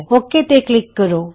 okay ਤੇ click ਕਰੋ